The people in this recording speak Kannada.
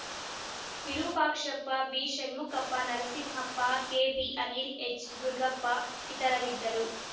ವಿರೂಪಾಕ್ಷಪ್ಪ ಬಿಷಣ್ಮುಕಪ್ಪ Narasimhappa K B Anila H Durugappa ಇತರರಿದ್ದರು